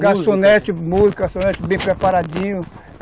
Garçonete bem preparadinho.